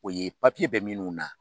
O ye bɛ minnu na